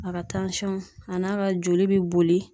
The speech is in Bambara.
A ka a n'a ka joli be boli